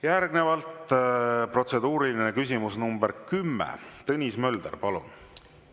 Järgnevalt protseduuriline küsimus, nr 10, Tõnis Mölder, palun!